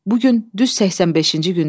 Bu gün düz 85-ci gündü.